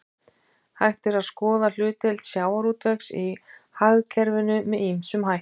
Hægt er að skoða hlutdeild sjávarútvegs í hagkerfinu með ýmsum hætti.